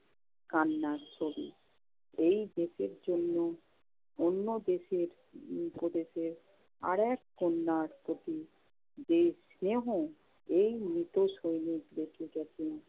কান্নার ছবি। এই দেশের জন্য অন্য দেশের উম প্রদেশের আরেক কন্যার প্রতি যে স্নেহ, এই মৃত সৈনিকদেরকে তখন